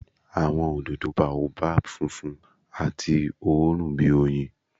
Awọn ododo Baobab funfun ati oorun bi oyin.